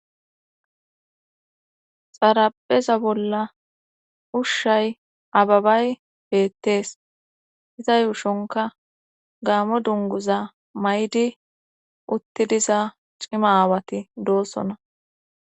xarapheza bolla ushshay ababay beettees iza yuushonka gaamo dunguza may7di uttidiza cima aawati doossona